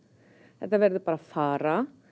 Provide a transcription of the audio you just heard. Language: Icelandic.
þetta verður bara að fara